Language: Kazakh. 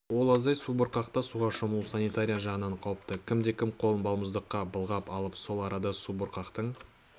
ол аздай су бұрқақта суға шомылу санитария жағынан қауіпті кімде-кім қолын балмұздаққа былғап алып сол арада субұрқақтың